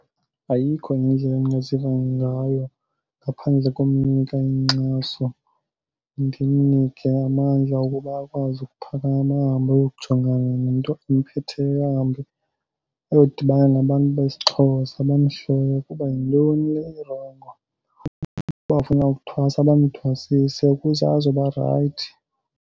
Ayikho enye indlela endingaziva ngayo ngaphandle komnika inkxaso, ndimnike amandla wokuba akwazi ukuphakama ahambe ayokujongana nento emphetheyo. Ahambe ayodibana nabantu besiXhosa bamtshekhe ukuba yintoni le irongo. Uba ufuna ukuthwasa bamthwasise ukuze azoba rayithi.